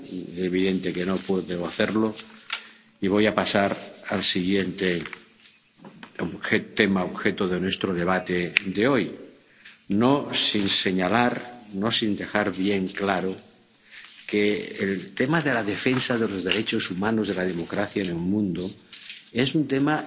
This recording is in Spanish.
Es evidente que no puedo hacerlo, y voy a pasar al siguiente tema objeto de nuestro debate de hoy, no sin señalar, no sin dejar bien claro que el tema de la defensa de los derechos humanos y la democracia en el mundo es un tema